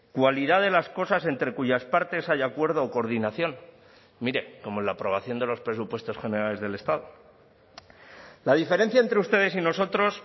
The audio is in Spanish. cualidad de las cosas entre cuyas partes hay acuerdo o coordinación mire como en la aprobación de los presupuestos generales del estado la diferencia entre ustedes y nosotros